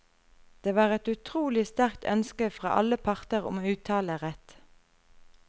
Det var et utrolig sterkt ønske fra alle parter om uttalerett.